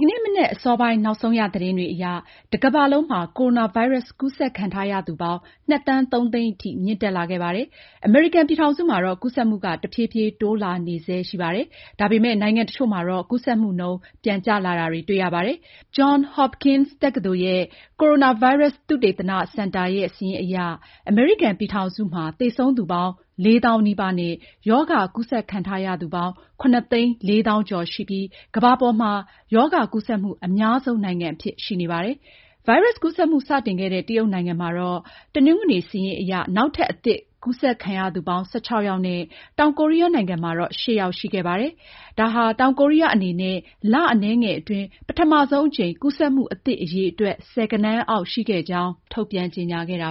ကနေ့မနက်အစောပိုင်း နောက်ဆုံးရ သတင်းတွေအရ တကမ္ဘာလုံးမှာ ကိုရိုနာဗိုင်းရပ်စ် ကူးစက်ခံထားရသူပေါင်း ၂ ဒသမ ၃ သန်းထိ မြင့်တက်လာခဲ့ပါတယ်။ အမေရိကန်ပြည်ထောင်စုမှာတော့ ကူးစက်မှုက တဖြည်းဖြည်း တိုးလာနေဆဲ ရှိနေပါတယ်။ ဒါပေမယ့် နိုင်ငံတချို့မှာ ကူးစက်မှုနှုန်း ပြန်ကျလာတာ ရှိပါတယ်။ John Hopkins ကိုရိုနာဗိုင်းရပ်စ် သုတေသနစင်တာရဲ့ စာရင်းအရ အမေရိကန်ပြည်ထောင်စုမှာတော့ သေဆုံးသူပေါင်း ၄၀,၀၀၀ နီးပါးနဲ့ ရောဂါကူးစက်ခံထားရသူ ၇၄၃,၀၀၀ ရှိပြီး ကမ္ဘာပေါ်မှာ ဒီရောဂါကူးစက်မှု အများဆုံးနိုင်ငံအဖြစ် ရှိနေပါတယ်။ ဗိုင်းရပ်စ်ကူးစက်မှု စတင်ခဲ့တဲ့ တရုတ်နိုင်ငံမှာ တနင်္ဂနွေ စာရင်းအရ နောက်ထပ် အသစ်ကူးစက်ခံရသူပေါင်း ၁၆ ယောက်နဲ့ တောင်ကိုရီးယားနိုင်ငံမှာတော့ ၈ ယောက် ရှိခဲ့ပါတယ်။ တောင်ကိုရီးယားအနေနဲ့ လအနည်းငယ်အတွင်း ပထမဆုံးအကြိမ် ကူးစက်မှုအသစ် အရေအတွက် ဆယ်ဂဏန်းအောက် ရှိခဲ့ကြောင်း ထုတ်ပြန်ကြေညာခဲ့တာ